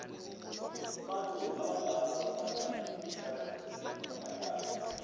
abantu abadala bathanda imidlalo yamahlaya